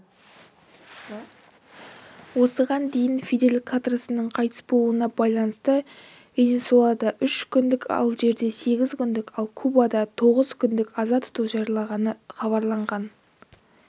осыған дейін фидель кастроның қайтыс болуына байланысты венесуэлада үш күндік алжирде сегіз күндік ал кубада тоғыз күндік аза тұту жарияланғаны хабарланған